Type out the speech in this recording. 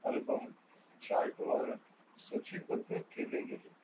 album chart वर सूचीबद्ध केले गेले.